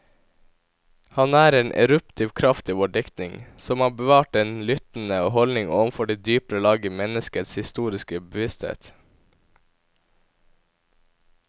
Han er en eruptiv kraft i vår diktning, som har bevart den lyttende holdning overfor de dypere lag i menneskets historiske bevissthet.